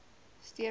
steenbok